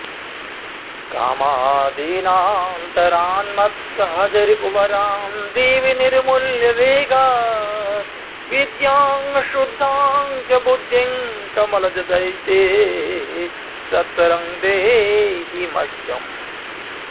कामादीनान्तरान्मत्सहजरिपुवरान्देवि निर्मूल्य वेगात् विद्यां शुद्धां च बुद्धिं कमलजदयिते सत्वरं देहि मह्यम्